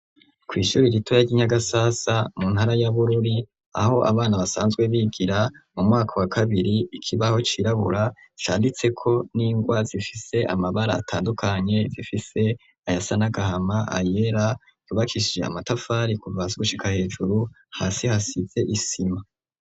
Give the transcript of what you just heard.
kwishuri ritoya ry'inyagasasa mu ntara y'abururi aho abana basanzwe bigira mu mwaka wa kabiri, ikibaho cirabura cyanditseko n'ingwa zifise amabara atandukanye zifise ayasa n'agahama ayera Yubakishije amatafari kuvaza gushika hejuru hasi hasize isima.